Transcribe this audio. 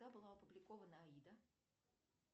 когда была опубликована аида